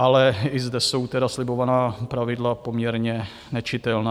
Ale i zde jsou tedy slibovaná pravidla poměrně nečitelná.